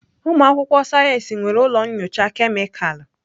Ụmụ akwụkwọ sayensị nwere ụlọ nyocha kemịkalụ.